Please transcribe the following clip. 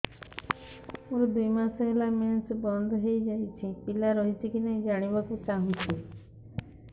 ମୋର ଦୁଇ ମାସ ହେଲା ମେନ୍ସ ବନ୍ଦ ହେଇ ଯାଇଛି ପିଲା ରହିଛି କି ନାହିଁ ଜାଣିବା କୁ ଚାହୁଁଛି